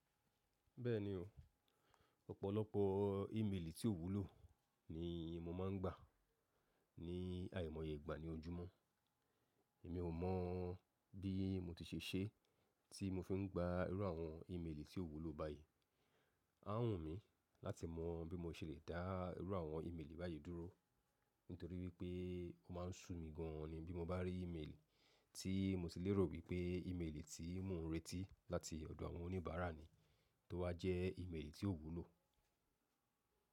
Bẹ́ẹ̀ni o, ọ̀pọ̀lọpọ̀ ímeèlì tí ò wúlò ni mo máa ń gbà ní àìmọye ìgbà ni ojúmọ́. Èmi ò mọ̀ bí mo ti ṣe é ṣe tí mo fi ń gba irú àwọn ímeèlì tí ò wúlò báyìí. A ń wù mí láti mọ bí mo se le dá irú àwọn ímeèlì báyìí dúró, nítorí wípé ó máa ń sú mi gan an ni bí mo bá rí ímeèlì tí mo ti lérò wípé ímeèlì tí ń mu ìretí láti ọ̀dọ̀ àwọn oníbàárà ni, tó wá jẹ́ ímeèlì tí ò wúlò.